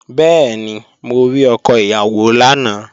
Bẹ́ẹ̀ni, mo rí ọkọ ìyàwó lánàá